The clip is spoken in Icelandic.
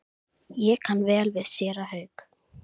Ég kann vel við séra Hauk.